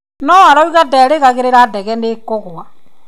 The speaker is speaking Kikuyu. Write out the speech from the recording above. No arauga nderĩgagĩrĩra ndege nĩ ĩkũgũa.